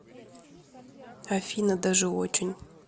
афина даже очень